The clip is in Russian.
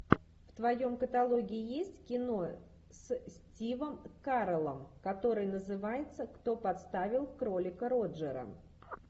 в твоем каталоге есть кино с стивом кареллом которое называется кто подставил кролика роджера